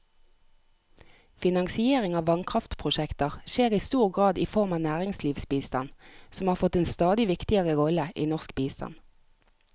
Finansiering av vannkraftprosjekter skjer i stor grad i form av næringslivsbistand, som har fått en stadig viktigere rolle i norsk bistand.